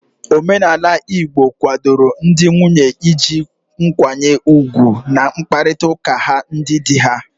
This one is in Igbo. Omenala igbo kwadoro ndị nwunye iji nkwanye ugwu n'mkparịta ụka ha ndị di ha